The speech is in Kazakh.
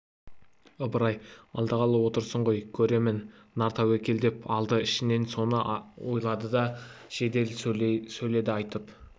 ыбырай алдағалы отырсың ғой көрермін нар тәуекел деп алды ішінен соны ойлады да жедел сөйледі айыпты